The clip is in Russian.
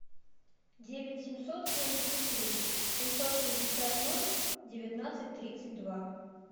девять семьсот семьдесят три семьсот шестьдесят ноль девятнадцать тридцать два